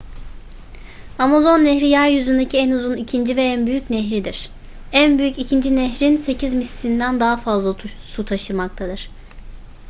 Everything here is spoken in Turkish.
amazon nehri yeryüzündeki en uzun ikinci ve en büyük nehirdir en büyük ikinci nehrin 8 mislinden daha fazla su taşımaktadır